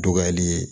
Dɔgɔyali ye